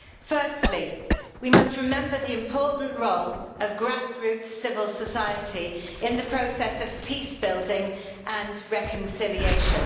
Firstly, we must remember the important role of grassroots civil society in the process of peace building and reconciliation.